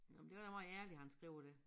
Nåh men det var da måj ærligt han skriver det